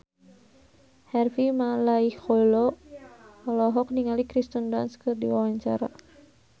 Harvey Malaiholo olohok ningali Kirsten Dunst keur diwawancara